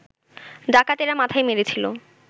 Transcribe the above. ডাকাতেরা মাথায় মেরেছিল